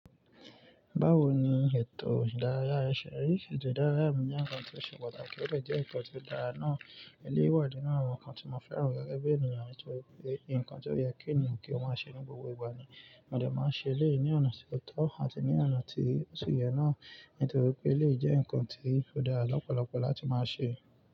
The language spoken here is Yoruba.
Báwo ni ètò ìdárayá ẹ ṣe ri? Ètò ìdárayá mi jẹ́ nǹkan tí ó ṣe pàtàkì, ó de jẹ́ nǹkan tó dára náà. Eleyi wà nínú àwọn nǹkan tí mo fẹ́ràn nípa ẹbí ènìyàn nítorí pé nǹkan tí ó yẹ kí ènìyàn kí ó máa ṣe ní gbogbo ìgbà ni, mo lè máa ṣe léè ní ọ̀nà tí ó tọ́ àti ní ọ̀nà tí ó ṣẹ̀ ye náà nítorí pé ó lè jẹ́ nǹkan tí ó dára lọ́pọ̀lọpọ̀ láti máa ṣe.